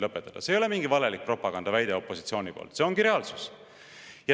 See ei ole opositsiooni mingi valelik propagandaväide, see ongi reaalsus.